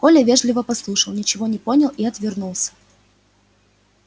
коля вежливо послушал ничего не понял и отвернулся